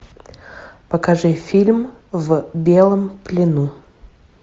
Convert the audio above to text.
покажи фильм в белом плену